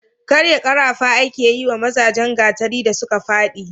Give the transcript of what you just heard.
karya karafa ake yi wa mazajen gatari da suka fadi